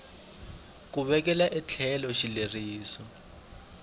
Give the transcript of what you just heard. ku vekela etlhelo xileriso xa